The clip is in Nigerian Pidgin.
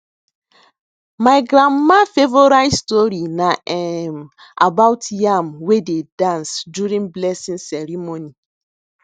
my grandma favourite story na um about yam wey dey dance during blessing ceremony